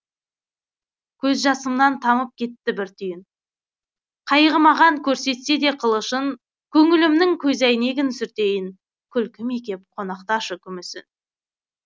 көз жасымнан тамып кетті бір түйін қайғы маған көрсетсе де қылышын көңілімнің көзәйнегін сүртейін күлкіме кеп қонақташы күміс үн